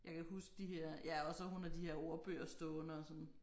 Jeg kan huske de her ja og så hun har de her ordbøger stående og sådan